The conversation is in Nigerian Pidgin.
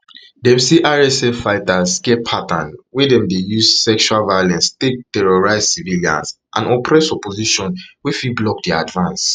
dem say rsf fighters get pattern wia dem dey use sexual violence take terrorise civilians and suppress opposition wey fit block dia advance